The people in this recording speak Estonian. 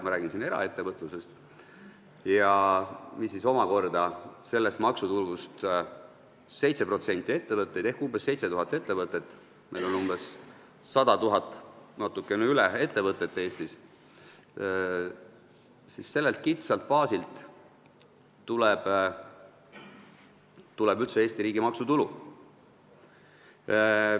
7% ettevõtetest ehk umbes 7000 ettevõtet – sellelt kitsalt baasilt tuleb üldse Eesti riigi maksutulu.